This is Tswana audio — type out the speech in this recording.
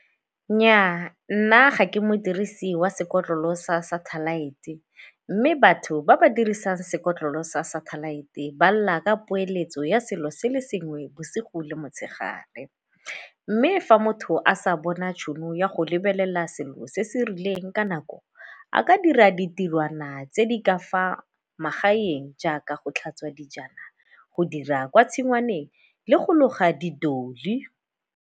Nnyaa, nna ga ke modirisi wa sekotlolo sa satellite mme batho ba ba dirisang sekolo sa satellite ba lla ka poeletso ya selo se le sengwe bosigo le motshegare. Mme fa motho a sa bona tšhono ya go lebelela selo se se rileng ka nako a ka dira ditirwana tse di ka fa magaeng jaaka go tlhatswa dijana, go dira kwa tshwangwaneng le go loga di .